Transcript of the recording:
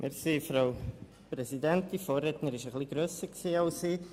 Ich danke für die Debatte.